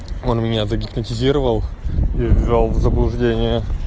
он меня загипнотизировал и ввёл в заблуждение